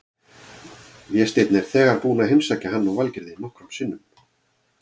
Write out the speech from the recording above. Vésteinn er þegar búinn að heimsækja hann og Valgerði nokkrum sinnum.